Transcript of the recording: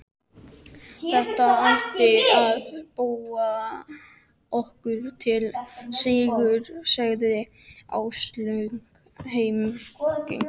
Þetta ætti að duga okkur til sigurs sagði Áslaug hamingjusöm.